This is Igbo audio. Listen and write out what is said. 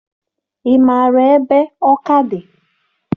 Ị maara ebe Ọka dị?